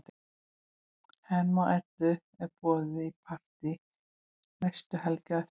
Hemma og Eddu er boðið í partí næstu helgi á eftir.